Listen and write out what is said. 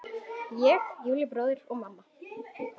Ég, Júlli bróðir og mamma.